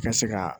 Ka se ka